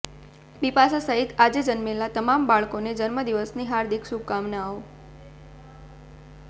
બિપાશા સહિત આજે જન્મેલા તમામ લોકોને જન્મદિવસની હાર્દિક શુભેચ્છાઓ